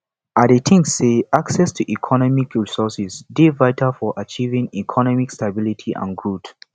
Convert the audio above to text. i dey think say access to economic resources dey vital for achieving economic stability and growth